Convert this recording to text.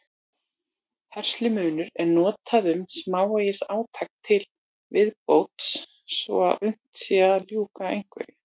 Herslumunur er notað um smávegis átak til viðbótar svo að unnt sé að ljúka einhverju.